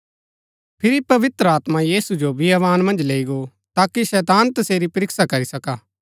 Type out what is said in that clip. फिरी पवित्र आत्मा यीशु जो बियावान मन्ज लैई गो ताकि शैतान तसेरी परीक्षा करी सका